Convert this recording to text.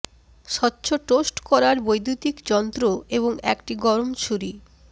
স্বচ্ছ টোস্ট করার বৈদু্যতিক যন্ত্র এবং একটি গরম ছুরি